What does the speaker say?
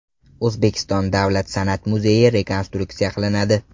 O‘zbekiston davlat san’at muzeyi rekonstruksiya qilinadi.